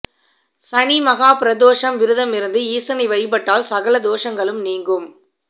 சனி மகா பிரதோஷம் விரதமிருந்து ஈசனை வழிபட்டால் சகல தோஷங்களும் நீங்கும்